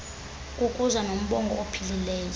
kukuza nombono ophilileyo